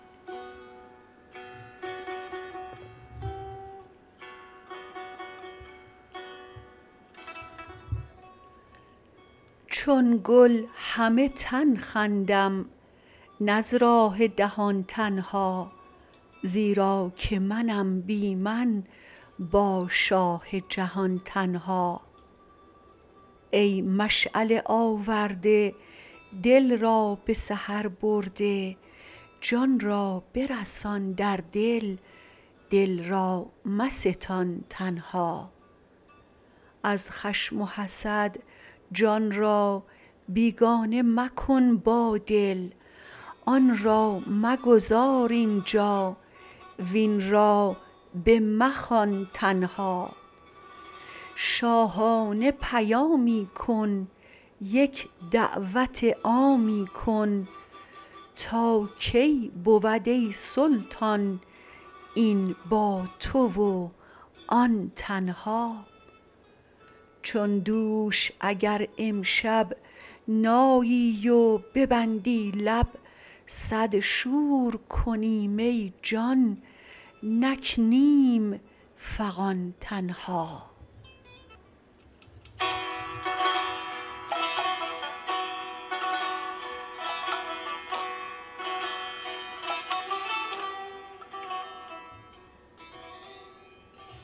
چون گل همه تن خندم نه از راه دهان تنها زیرا که منم بی من با شاه جهان تنها ای مشعله آورده دل را به سحر برده جان را برسان در دل دل را مستان تنها از خشم و حسد جان را بیگانه مکن با دل آن را مگذار اینجا وین را بمخوان تنها شاهانه پیامی کن یک دعوت عامی کن تا کی بود ای سلطان این با تو و آن تنها چون دوش اگر امشب نایی و ببندی لب صد شور کنیم ای جان نکنیم فغان تنها